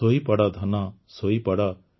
ଶୋଇପଡ଼ ଧନ ଶୋଇପଡ଼